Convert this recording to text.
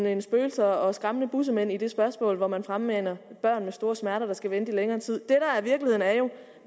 end spøgelser og skræmmende bussemænd i det spørgsmål hvor man fremmaner et af børn med store smerter der skal vente i længere tid